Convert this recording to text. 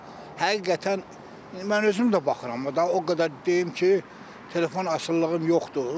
Həqiqətən mən özüm də baxıram, o qədər deyim ki, telefon asılılığım yoxdur.